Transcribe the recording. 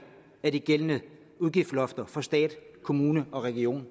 af de gældende udgiftslofter for stat kommuner og regioner